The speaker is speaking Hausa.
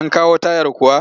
An kawo tayar kuwa?